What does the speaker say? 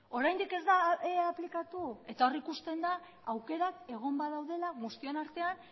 oraindik ez da aplikatu eta hor ikusten da aukerak egon badaudela guztion artean